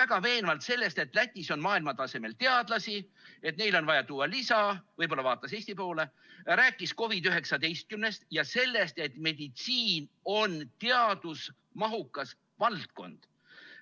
väga veenvalt sellest, et Lätis on maailmatasemel teadlasi, et neile on vaja tuua lisa – võib-olla vaatas ta Eesti poole –, rääkis COVID‑19‑st ja sellest, et meditsiin on teadusmahukas valdkond.